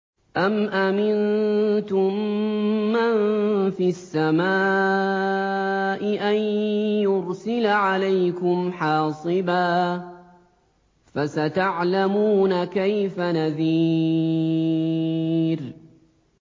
أَمْ أَمِنتُم مَّن فِي السَّمَاءِ أَن يُرْسِلَ عَلَيْكُمْ حَاصِبًا ۖ فَسَتَعْلَمُونَ كَيْفَ نَذِيرِ